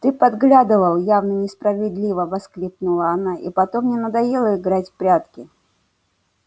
ты подглядывал явно несправедливо воскликнула она и потом мне надоело играть в прятки